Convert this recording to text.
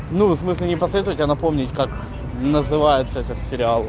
ну в смысле не посоветую тебе напомнить как называется этот сериал